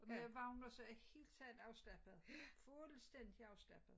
Med varmet og så er jeg i helt taget afslappet fuldstændig afslappet